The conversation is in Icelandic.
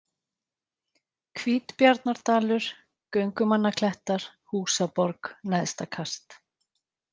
Hvítbjarnardalur, Göngumannaklettar, Húsaborg, Neðstakast